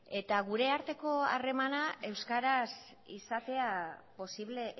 eta gure arteko harremana euskaraz izatea posible